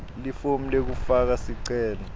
lifomu lekufaka sicelo